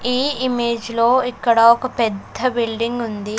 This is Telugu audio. ఈ ఇమేజ్ లో ఇక్కడ ఒక పెద్ద బిల్డింగ్ ఉంది.